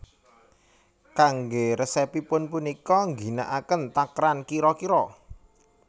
Kanggé resepipun punika ngginakaken takeran kira kira